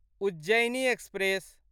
Ujjaini express